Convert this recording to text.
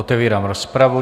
Otevírám rozpravu.